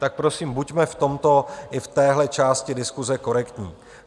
Tak prosím buďme v tomto i v téhle části diskuse korektní.